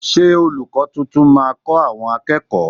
Ṣé olùkó tuntun máa kọ àwọn akẹ́kọ̀ọ́?